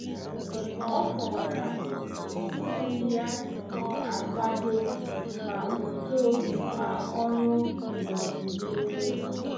Ọ kọwara otu mkpebi ya si akwado ma uto ma ọrụ n'ọdịnihu.